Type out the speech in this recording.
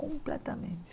Completamente.